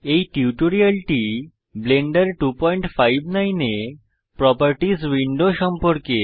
এই টিউটোরিয়ালটি ব্লেন্ডার 259 এ প্রোপার্টিস উইন্ডো সম্পর্কে